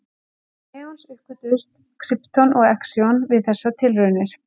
Auk neons uppgötvuðust krypton og xenon við þessar tilraunir.